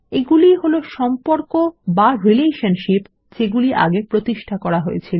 এগুলি ই হল সম্পর্ক বা রিলেশনশিপ যেগুলি আগে প্রতিষ্ঠা করা হয়েছিল